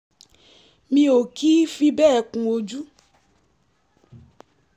mi ò kì í fi bẹ́ẹ̀ kun ojú